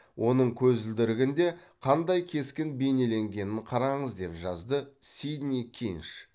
оның көзілдірігінде қандай кескін бейнеленгенін қараңыз деп жазды сидни кинш